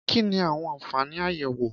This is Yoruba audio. Kí ni àwọn àfààní àyẹ̀wò?